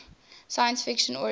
science fiction origins